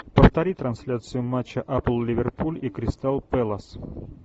повтори трансляцию матча апл ливерпуль и кристал пэлас